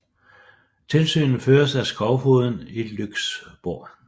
Tilsynet føres af skovfogden i Lyksborg